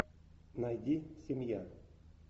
найди семья